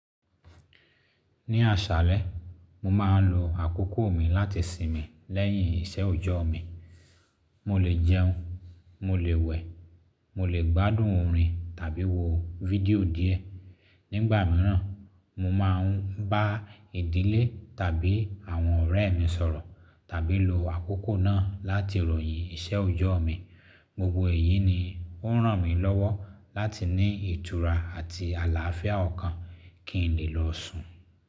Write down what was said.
Ní àṣálẹ, mo ma ń lo àkókò mi láti sinmi lẹ́yìn iṣẹ́ òjọ́ mi. Mo lè jẹun, mo lè wẹ̀, mo lè gbádùn orin tàbí wo fídíò díẹ̀. Nígbà mìíràn, mo máa ń bá ìdílé tàbí àwọn ọ̀rẹ́ mi sọ̀rọ̀ tàbí lo àkókò náà láti ròyìn iṣẹ́ òjọ́ mi. Gbogbo èyí ni ó ràn mí lọ́wọ́ láti ní ìtura àti àlàáfíà ọ̀kan kí n lè lọ sùn.